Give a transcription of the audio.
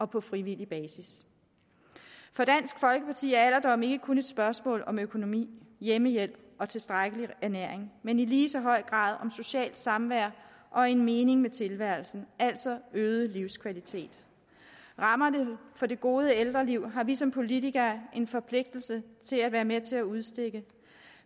på frivillig basis for dansk folkeparti er alderdommen ikke kun et spørgsmål om økonomi hjemmehjælp og tilstrækkelig ernæring men i lige så høj grad om socialt samvær og en mening med tilværelsen altså øget livskvalitet rammerne for det gode ældreliv har vi som politikere en forpligtelse til at være med til at udstikke